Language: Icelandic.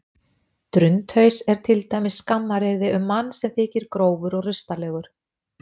drundhaus er til dæmis skammaryrði um mann sem þykir grófur og rustalegur